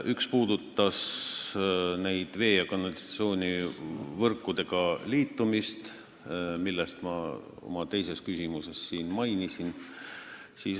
Üks puudutas vee- ja kanalisatsioonivõrkudega liitumist, mida ma siin oma teises küsimuses mainisin.